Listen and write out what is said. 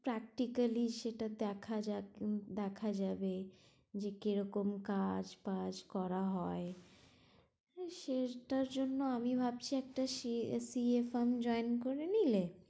Practically সেটা দেখা যায় দেখা যাবে, যে কিরকম কাজ বাজ করা হয় আর সেটার জন্য আমি ভাবছি একটা সি এ firm join করে নিলে